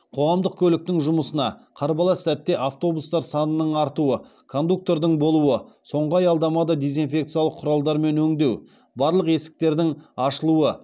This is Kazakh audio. қоғамдық көліктің жұмысына қарбалас сәтте автобустар санының артуы кондуктордың болуы соңғы аялдамада дезинфекциялық құралдармен өңдеу барлық есіктердің ашылуы